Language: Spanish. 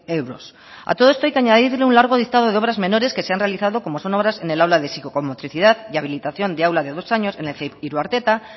euros a todo esto hay que añadirle un largo lista de obras menores que se han realizado como son obras en el aula de psicomotricidad y habilitación de aula de dos años en el ceip iruarteta